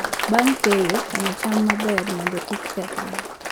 Bang' keyo, kano cham maber mondo kik kethre.